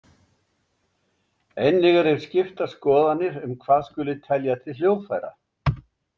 Einnig eru skiptar skoðanir um hvað skuli telja til hljóðfæra.